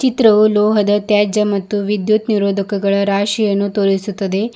ಚಿತ್ರವು ಲೋಹದ ತ್ಯಾಜ್ಯ ಮತ್ತು ವಿದ್ಯುತ್ ನಿರೋಧಕಗಳ ರಾಶಿಯನ್ನು ತೋರಿಸುತ್ತದೆ.